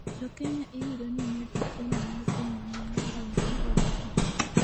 JoKenya iyudo ni nigi tuono mar piny mangima e gweng' mar Oyugis